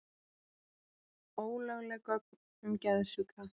Ólögleg gögn um geðsjúka